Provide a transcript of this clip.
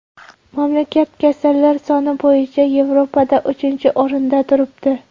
Mamlakat kasallar soni bo‘yicha Yevropada uchinchi o‘rinda turibdi.